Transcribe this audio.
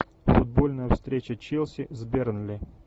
футбольная встреча челси с бернли